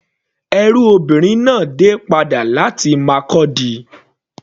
Ẹrú obìnrin náà dé padà láti Markurdi.